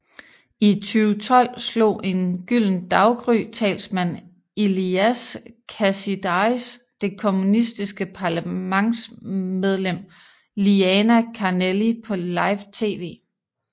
I 2012 slog en Gyldent Daggry talsmand Ilias Kasidaris det kommunistiske parlamentsmedlem Liana Kanelli på live TV